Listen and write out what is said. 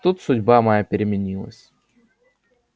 тут судьба моя переменилась